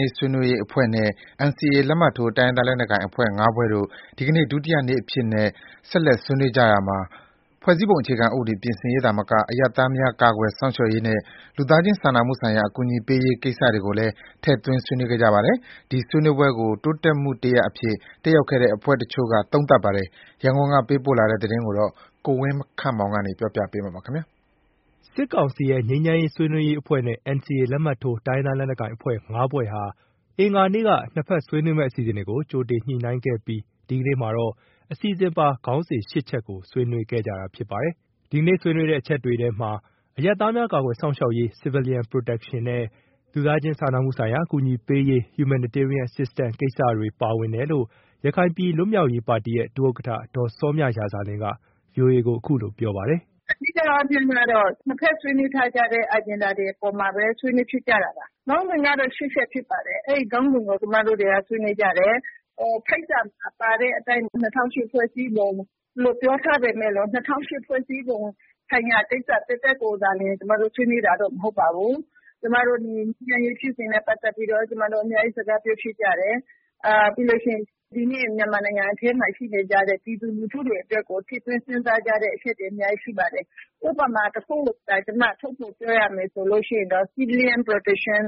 ရေးဆွေးနွေးရေးအဖွဲ့နဲ့ NCA လက်မှတ်ထိုး တိုင်းရင်းသားလက်နက်ကိုင်အဖွဲ့ ၅ ဖွဲ့တို့ ဒီနေ့ ဒုတိယနေ့အဖြစ် ဆက်လက်ဆွေးနွေးကြရာမှာ ဖွဲ့စည်းပုံအခြေခံဥပဒေ ပြင်ဆင်ရေးသာမက အရပ်သားများကာကွယ်စောင့်ရှောက်ရေးနဲ့ လူသားချင်းစာနာမှုဆိုင်ရာ အကူအညီပေးရေးကိစ္စတွေကိုလည်း ထည့်သွင်းဆွေးနွေးခဲ့ကြပါတယ်။ ဒီဆွေးနွေးပွဲကို တိုးတက်မှုတရပ်အဖြစ် တတ်ရောက်တဲ့အဖွဲ့တချို့က သုံးသပ်ပါတယ်။ ရန်ကုန်ကပေးပို့လာတဲ့ သတင်းကို ကိုဝင်းခန့်မောင်က တင်ပြထားပါတယ်။ စစ်ကောင်စီရဲ့ ငြိမ်းချမ်းရေးဆွေးနွေးရေးအဖွဲ့နဲ့ NCAလက်မှတ်ထိုး တိုင်းရင်းသားလက်နက်ကိုင်အဖွဲ့ ၅ ဖွဲ့တို့ဟာ အင်္ဂါနေ့က နှစ်ဖက်ဆွေးနွေးမယ့် အစီအစဉ်တွေကို ကြိုတင်ညှိနှိုင်းခဲ့ပြီး ဒီကနေ့မှာတော့ အစီအစဉ်ပါ ခေါင်းစဉ် ၈ ချက်ကို ဆွေးနွေးခဲ့ကြတာဖြစ်ပါတယ်။ ဒီကနေ့ ဆွေးနွေးတဲ့အချက်တွေထဲမှာ အရပ်သားများကာကွယ်စောင့်ရှောက်ရေး Civilian Protection နဲ့ လူသားချင်းစာနာမှုဆိုင်ရာအကူအညီပေးရေး Humanitarian assistance ကိစ္စ ရခိုင်ပြည်လွတ်မြောက်ရေးပါတီရဲ့ ဒုဥက္ကဋ္ဌ ဒေါ်စောမြရာဇာလင်းက VOA ကို အခုလို ပြောပါတယ်။ “ အဓိကအားဖြင့်တော့ နှစ်ဘက်ဆွေးနွေးထားတဲ့ Agenda တွေအပေါ်မှာပဲ ဆွေးနွေးဖြစ်ကြတာပါ။ ခေါင်းစဉ်ကတော့ ၈ ချက်ဖြစ်ပါတယ်။ အဲဒီခေါင်းစဉ်ကို ကျမတို့တွေက ဆွေးနွေးကြတယ်။ ဖိတ်စာမှာပါတဲ့အတိုင်း ၂၀၀၈ ဖွဲ့စည်းပုံလို့ ပြောထားပေမဲ့လို့ ၂၀၀၈ ဖွဲ့စည်းပုံဆိုင်ရာကိစ္စသက်သက်ကိုသာလျှင် ကျမတို့ ဆွေးနွေးတာတော့ မဟုတ်ပါဘူး။ ငြိမ်းချမ်းရေးဖြစ်စဉ်နဲ့ပတ်သက်ပြီး အများကြီး စကားပြောဖြစ်ကြတယ်။ ပြီးရင် ဒီနေ့ မြန်မာနိုင်ငံအထဲမှာရှိနေကြတဲ့ ပြည်သူလူထုတွေအတွက်ကို ထည့်သွင်းစဉ်းစားကြတဲ့အချက်တွေ အများကြီး ရှိပါတယ်။ ဒီနေ့ ဥပမာတခု ထုတ်ဖော်ပြောရမယ်ဆိုရင်တော့ Civilian Protection